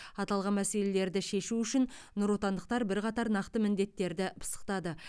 аталған мәселелерді шешу үшін нұротандықтар бірқатар нақты міндеттерді пысықтады